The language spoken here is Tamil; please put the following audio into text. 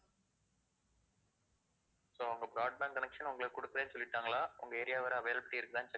so அவங்க broadband connection உங்களுக்கு குடுக்கறேன்னு சொல்லிட்டாங்களா உங்க area வரை availability இருக்கான்னு check